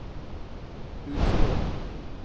Utsira